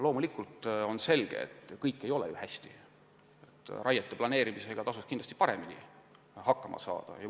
Loomulikult on selge, et kõik ei ole ju hästi, raiete planeerimisega tasuks kindlasti paremini hakkama saada.